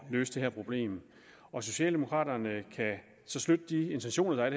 løse det her problem og socialdemokraterne kan støtte de intentioner der er